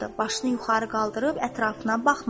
Başını yuxarı qaldırıb ətrafına baxmırdı.